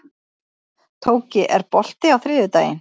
Tóki, er bolti á þriðjudaginn?